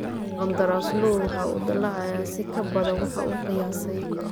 Qandaraasluhu waxa uu dalacayaa si ka badan waxa uu qiyaasay.